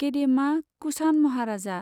गेदेमा कुषाण महाराजा,